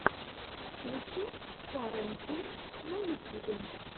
включи карен туз на ютюбе